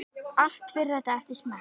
Allt fer þetta eftir smekk.